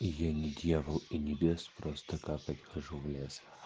и я не дьявол и не бес просто капать хожу в лес